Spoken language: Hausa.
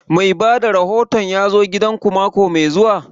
Mai bada rahoton ya zo gidan ku mako mai zuwa?